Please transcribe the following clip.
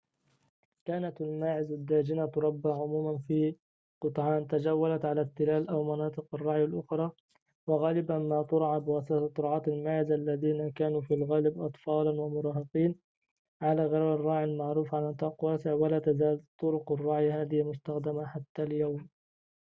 كانت الماعز الداجنة تُربى عموماً في قطعان تجولت على التلال أو مناطق الرعي الأخرى وغالباً ما تُرعى بواسطة رعاة الماعز الذين كانوا في الغالب أطفالاً أو مراهقين على غرار الراعي المعروف على نطاق واسع ولا تزال طرق الرعي هذه مستخدمة حتى اليوم